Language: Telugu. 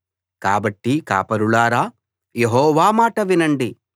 కాబట్టి కాపరులారా యెహోవా మాట వినండి